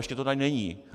ještě to tady není.